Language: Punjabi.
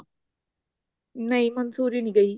ਨਹੀਂ ਮੰਸੂਰੀ ਨਹੀਂ ਗਈ